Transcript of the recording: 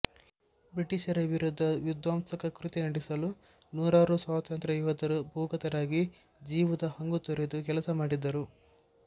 ಬ್ರಿಟಿಷರ ವಿರುದ್ಧ ವಿಧ್ವಂಸಕ ಕೃತ್ಯ ನಡೆಸಲು ನೂರಾರು ಸ್ವಾತಂತ್ರ್ಯಯೋಧರು ಭೂಗತರಾಗಿ ಜೀವದ ಹಂಗುತೊರೆದು ಕೆಲಸಮಾಡಿದರು